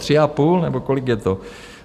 Tři a půl nebo kolik je to.